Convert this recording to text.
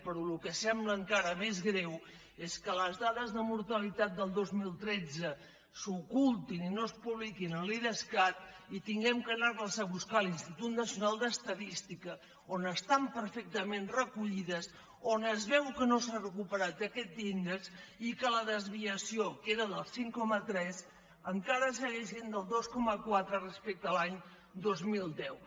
però el que sembla encara més greu és que les dades de mortalitat del dos mil tretze s’ocultin i no es publiquin a l’idescat i hàgim d’anar les a buscar a l’institut nacional d’es tadística on estan perfectament recollides on es veu que no s’ha recuperat aquest índex i que la desviació que era del cinc coma tres encara segueix sent del dos coma quatre respecte a l’any dos mil deu